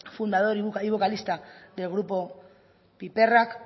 fundador y vocalista del grupo piperrak